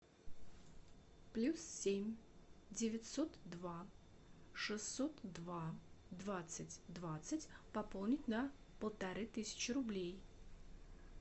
плюс семь девятьсот два шестьсот два двадцать двадцать пополнить на полторы тысячи рублей